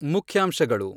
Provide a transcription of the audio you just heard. ಮುಖ್ಯಾಂಶಗಳು